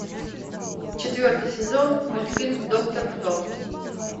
четвертый сезон мультфильм доктор кто